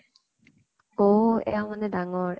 অ । এওঁ মানে ডাঙৰ ?